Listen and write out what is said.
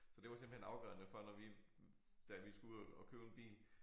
Så det var simpelthen afgørende for når vi da vi skulle ud og købe en bil